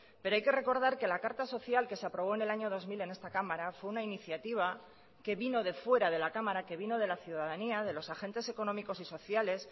pero hay que recordar que la carta social que se aprobó en el año dos mil en esta cámara fue una iniciativa que vino de fuera de la cámara que vino de la ciudadanía de los agentes económicos y sociales